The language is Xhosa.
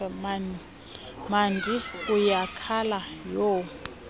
mandi uyakhala yho